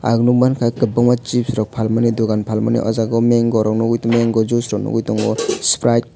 ang nogmangka kobangma chips rok palmani dogan palmani o jaga o mango rog nogoi tango mango juice noigoi tango sprite coke.